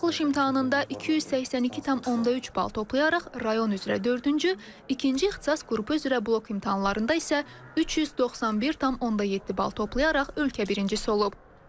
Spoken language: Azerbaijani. Buraxılış imtahanında 282.3 bal toplayaraq rayon üzrə dördüncü, ikinci ixtisas qrupu üzrə blok imtahanlarında isə 391.7 bal toplayaraq ölkə birincisi olub.